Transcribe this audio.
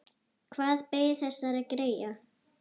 Hvað beið þessara greyja?